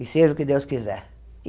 E seja o que Deus quiser.